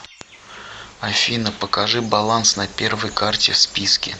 афина покажи баланс на первой карте в списке